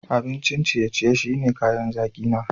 Abincin ciye-ciye shine kayan zaki na.